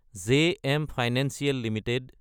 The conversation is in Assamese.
JM financial Ltd